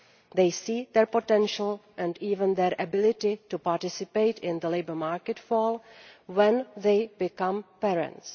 They see their potential, and even their ability to participate in the labour market, fall when they become parents.